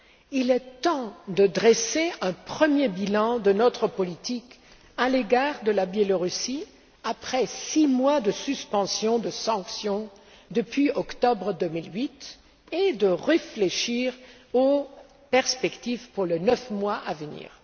Il est temps de dresser un premier bilan de notre politique à l'égard du Belarus après six mois de suspension des sanctions, depuis octobre 2008, et de réfléchir aux perspectives pour les neuf mois à venir.